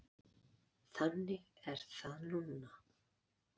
Þannig er það núna.